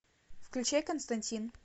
включай константин